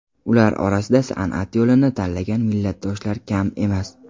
Ular orasida san’at yo‘lini tanlagan millatdoshlar kam emas.